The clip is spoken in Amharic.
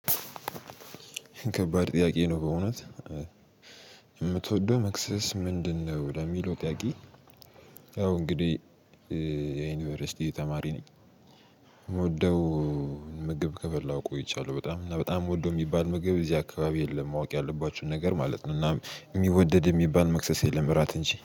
ከባድ ጥያቄ ነው በእውነት የምትወደው መክሰስ ምንድነው? ለሚለው ጥያቄ። ያው እንግዲህ የዩኒቨርሲቲ ተማሪ ነኝ። የምወደው ምግብ ከበላው ቆይቻለሁ በጣም እና በጣም ምወደው የሚባል ምግብ እዚህ አካባቢ የለም። ማወቅ ያለባችሁን ነገር ማለት ነው። እና የሚወደድ የሚባል መክሰስ የለም እራት እንጂ